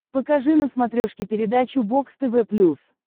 покажи на смотрешке передачу бокс тв плюс